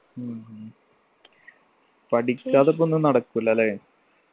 ഉം പഠിക്കാതപ്പൊ ഒന്നും നടക്കൂല ല്ലേ